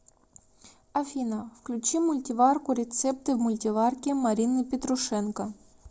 афина включи мультиварку рецепты в мультиварке марины петрушенко